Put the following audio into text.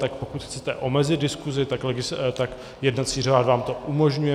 Tak pokud chcete omezit diskusi, tak jednací řád vám to umožňuje.